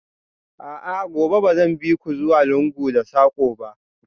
A'a, gobe ba zan bi ku zuwa lungu da sako ba?